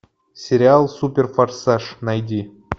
сериал супер форсаж найди